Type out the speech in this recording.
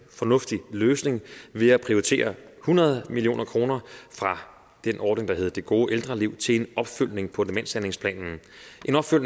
fornuftig løsning ved at prioritere hundrede million kroner fra den ordning der hedder det gode ældreliv til en opfølgning på demenshandlingsplanen